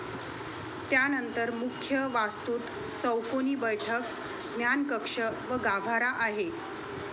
त्यानंतर मुख्य वास्तूत चौकोनी बैठक, ज्ञानकक्ष व गाभारा आहे.